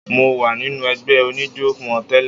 Mo wà nínú ẹgbẹ́ oníjó wọn tẹ́lẹ̀.